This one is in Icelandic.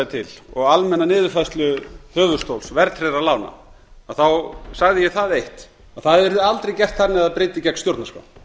til og almenna niðurfærslu höfuðstóls verðtryggðra lána sagði ég það eitt að það yrði aldrei gert þannig að það bryti gegn stjórnarskrá